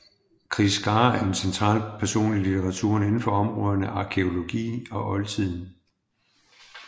Chris Scarre er en central person i litteraturen inden for områderne arkæologi og oldtiden